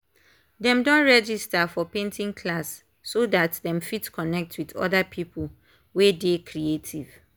dem don register for painting class so dat dem fit connect with other people wey dey creative